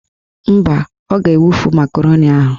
Mba, ọ ga-ewufu makaroni ahụ